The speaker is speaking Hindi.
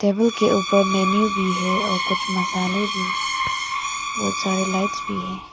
टेबल के ऊपर मेंन्यू भी है और कुछ मसाले भी बहुत सारे लाइटस भी हैं।